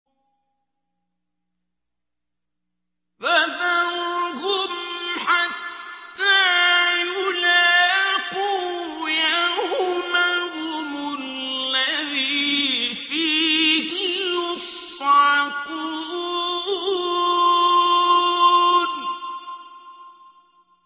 فَذَرْهُمْ حَتَّىٰ يُلَاقُوا يَوْمَهُمُ الَّذِي فِيهِ يُصْعَقُونَ